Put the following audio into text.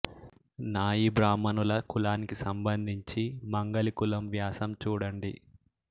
నాయీ బ్రాహ్మణుల కులానికి సంబంధించి మంగలి కులం వ్యాసం చూడండి